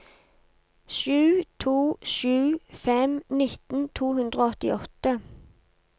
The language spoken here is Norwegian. sju to sju fem nitten to hundre og åttiåtte